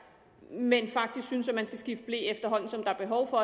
men faktisk synes at man skal skifte ble efterhånden som der er behov for